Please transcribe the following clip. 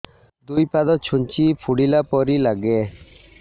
ଦୁଇ ପାଦ ଛୁଞ୍ଚି ଫୁଡିଲା ପରି ଲାଗେ